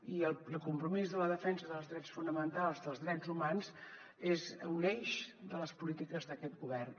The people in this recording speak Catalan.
i el compromís de la defensa dels drets fonamentals dels drets humans és un eix de les polítiques d’aquest govern